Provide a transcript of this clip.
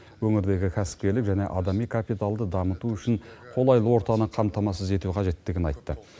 өңірдегі кәсіпкерлік және адами капиталды дамыту үшін қолайлы ортаны қамтамасыз ету қажеттігін айтты